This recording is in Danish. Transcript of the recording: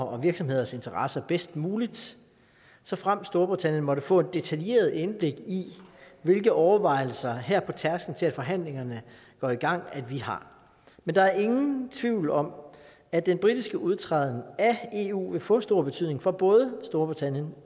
og virksomheders interesser bedst muligt såfremt storbritannien måtte få et detaljeret indblik i hvilke overvejelser vi her på tærskelen til at forhandlingerne går i gang har men der er ingen tvivl om at den britiske udtræden af eu vil få stor betydning for både storbritannien